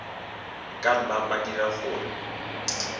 ka nna ba dira gore